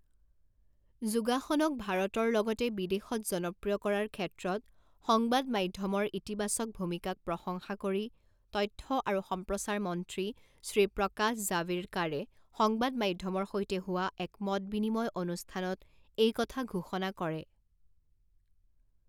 যোগাসনক ভাৰতৰ লগতে বিদেশত জনপ্ৰিয় কৰাৰ ক্ষেত্ৰত সংবাদ মাধ্যমৰ ইতিবাচক ভূমিকাক প্ৰশংসা কৰি তথ্য আৰু সম্প্ৰচাৰ মন্ত্ৰী শ্ৰী প্ৰকাশ জাভেড়কাৰে সংবাদ মাধ্যমৰ সৈতে হোৱা এক মত বিনিময় অনুষ্ঠানত এই কথা ঘোষণা কৰে।